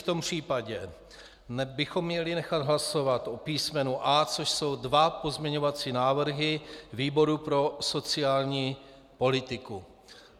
V tom případě bychom měli nechat hlasovat o písmenu A, což jsou dva pozměňovací návrhy výboru pro sociální politiku.